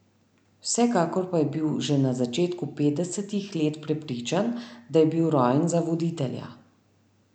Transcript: Vsekakor pa je bil že na začetku petdesetih let prepričan, da je bil rojen za voditelja.